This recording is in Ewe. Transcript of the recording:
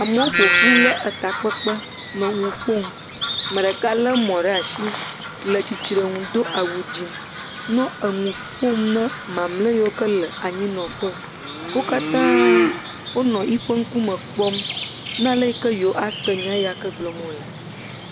Amewo ƒoƒu le takpekpe nɔnu ƒom, me ɖeka lé mɔ ɖe asi le tsitre ŋu do awu dzɛ̃, nɔ enu ƒom na mamlea yiwo le anyinɔƒe, wo katã wonɔ yi ƒe ŋkume kplɔm na ale yi ke yewoase nya yak e gblɔm wòle.